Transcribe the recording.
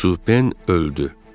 Supen öldü.